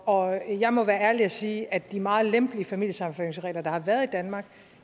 og jeg må være ærlig og sige at de meget lempelige familiesammenføringsregler der har været i danmark